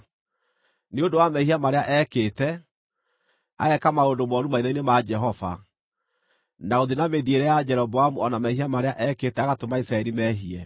nĩ ũndũ wa mehia marĩa eekĩte, ageeka maũndũ mooru maitho-inĩ ma Jehova, na gũthiĩ na mĩthiĩre ya Jeroboamu o na mehia marĩa eekĩte agatũma Isiraeli meehie.